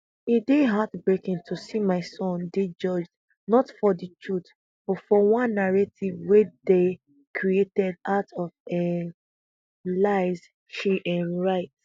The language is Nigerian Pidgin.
e dey heartbreaking to see my son dey judged not for di truth but for one narrative wey dey created out um of lies she um write